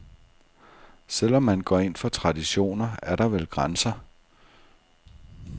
Selv om man går ind for traditioner, er der vel grænser.